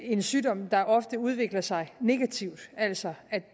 en sygdom der ofte udvikler sig negativt altså